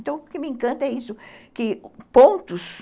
Então, o que me encanta é isso, que pontos...